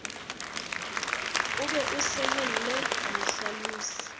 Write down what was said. o be o sehelle mahlalosi